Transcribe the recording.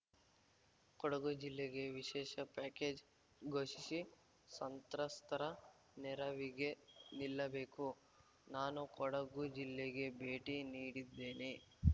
ಕೊಡಗು ಜಿಲ್ಲೆಗೆ ವಿಶೇಷ ಪ್ಯಾಕೇಜ್‌ ಘೋಷಿಸಿ ಸಂತ್ರಸ್ತರ ನೆರವಿಗೆ ನಿಲ್ಲಬೇಕು ನಾನೂ ಕೊಡಗು ಜಿಲ್ಲೆಗೆ ಭೇಟಿ ನೀಡಿದ್ದೇನೆ